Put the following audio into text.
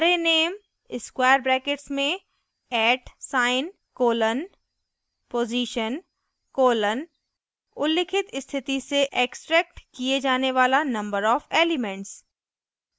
arrayname square bracket में at sign @ colon position colon उल्लिखित स्थिति से extracted किये जाने वाला number of elements